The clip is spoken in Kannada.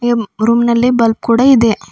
ಇಮ್ ರೂಮ್ ನಲ್ಲಿ ಬಲ್ಬ್ ಕೂಡ ಇದೆ.